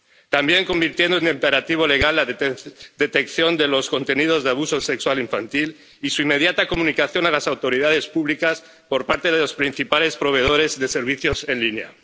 También convirtiendo en imperativo legal la detección de los contenidos de abuso sexual infantil y su inmediata comunicación a las autoridades públicas por parte de los principales proveedores de servicios en línea.